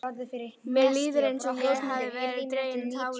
Mér líður eins og ég hafi verið dregin á tálar.